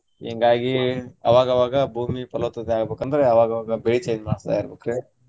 ಹಿಂಗಾಗಿ ಅವಾಗ ಅವಾಗ ಭೂಮಿ ಪಲವತ್ತತೆ ಆಗ್ಬೇಕ ಅಂದ್ರ ಅವಾಗ ಅವಾಗ ಬೆಳಿ change ಮಾಡ್ಸ್ತ ಇರ್ಬೆಕ್ರಿ.